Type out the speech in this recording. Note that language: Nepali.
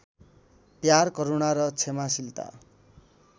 प्यार करूणा र क्षमाशीलता